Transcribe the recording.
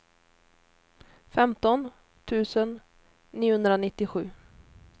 femton tusen niohundranittiosju